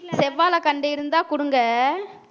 செவ்வாழை கண்டு இருந்தா குடுங்க